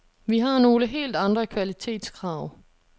Vi har nogle helt andre kvalitetskrav.